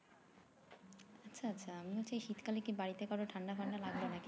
আচ্ছা আচ্ছা আমিও সেই শীতকালে কি বাড়িতে কাও রির ঠান্ডা ফান্ড লাগলো নাকি